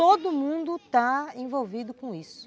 Todo mundo está envolvido com isso.